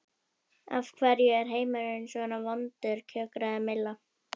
Af hverju er heimurinn svona vondur kjökraði Milla.